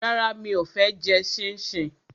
Rárá, mi ò fẹ́ jẹ ṣíńṣiǹ